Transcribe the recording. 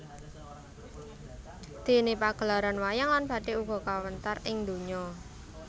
Déné pagelaran wayang lan bathik uga kawentar ing ndonya